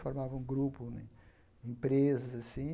Formava um grupo, empresas, assim.